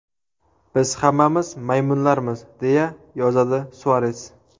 Biz hammamiz maymunlarmiz”, deya yozadi Suares.